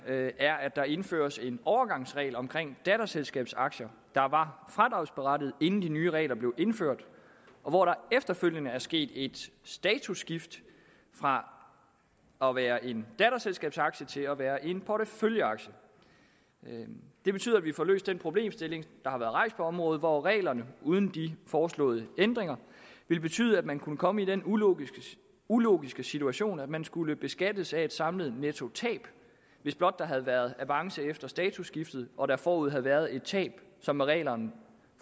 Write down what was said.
er at der indføres en overgangsregel om datterselskabsaktier der var fradragsberettigede inden de nye regler blev indført efterfølgende er der sket et statusskift fra at være en datterselskabsaktie til at være en porteføljeaktie det betyder at vi får løst den problemstilling der har været rejst på området hvor reglerne uden de foreslåede ændringer vil betyde at man kunne komme i den ulogiske ulogiske situation at man skulle beskattes af et samlet nettotab hvis blot der havde været avance efter statusskiftet og der forud havde været et tab som med reglerne